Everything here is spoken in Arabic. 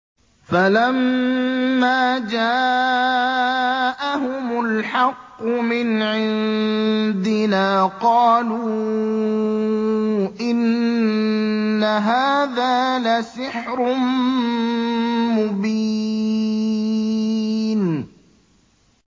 فَلَمَّا جَاءَهُمُ الْحَقُّ مِنْ عِندِنَا قَالُوا إِنَّ هَٰذَا لَسِحْرٌ مُّبِينٌ